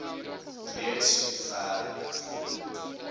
reeds ver gevorder